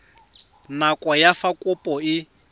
nako ya fa kopo e